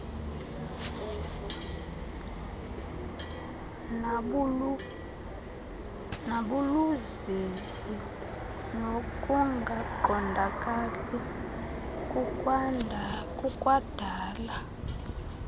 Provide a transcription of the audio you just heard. nabuluzizi nokungaqondakali kukwadala